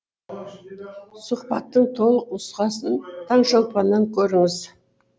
сұхбаттың толық нұсқасын таңшолпаннан көріңіз